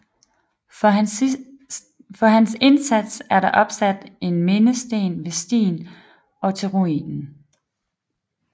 For hans indsats er der opsat en mindesten ved stien op til ruinen